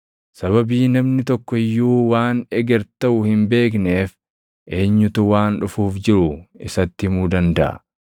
Sababii namni tokko iyyuu waan eger taʼu hin beekneef, eenyutu waan dhufuuf jiru isatti himuu dandaʼa?